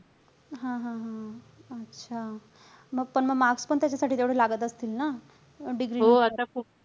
हा-हा-हा. अच्छा. मग पण मग marks पण त्याच्यासाठी तेवढे लागत असतील ना? degree ला